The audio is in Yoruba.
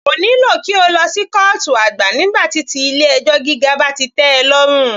Kò nílò kí o lọ sí kọ́ọ̀tù àgbà nígbà tí ti ilé ẹjọ́ gíga bá ti tẹ́ ọ lọ́rùn.